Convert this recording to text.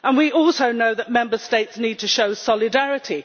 We also know that Member States need to show solidarity.